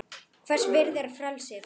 Hvers virði er frelsið?